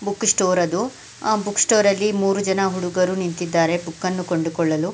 book store ಅದು ಆ book store ಅಲ್ಲಿ ಮೂರೂ ಜನ ಹುಡುಗರು ನಿಂತುಕೊಂಡಿದ್ದಾರೆ ಬುಕ್ ಅನ್ನು ಕಂಡು ಕೊಳ್ಳಲು--